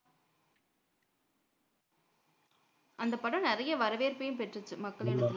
அந்தப் படம் நிறைய வரவேற்பையும் பெற்றுச்சு மக்களிடத்துல